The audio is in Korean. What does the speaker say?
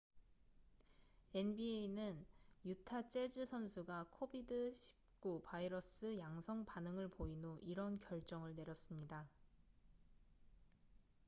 nba는 유타 재즈 선수가 covid-19 바이러스 양성 반응을 보인 후 이런 결정을 내렸습니다